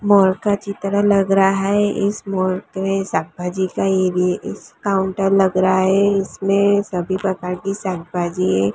मोर का चित्र लग रहा है इस मोर पे संभाजी ये इस काउंटर लग रहा है इसमें सभी प्रकार संभाजी--